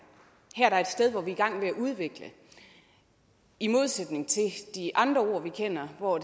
her er et sted hvor vi er i gang med at udvikle i modsætning til de andre ord vi kender hvor